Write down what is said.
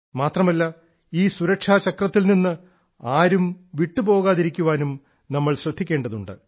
മാത്രമല്ല ഈ സുരക്ഷാ ചക്രത്തിൽ നിന്ന് ആരും വിട്ടു പോകാതിരിക്കാനും നമ്മൾ ശ്രദ്ധിക്കേണ്ടതുണ്ട്